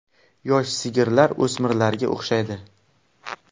Yosh sigirlar o‘smirlarga o‘xshaydi.